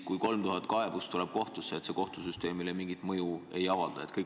Kui 3000 kaebust tuleb kohtusse, kas see kohtusüsteemile mingit mõju ei avalda?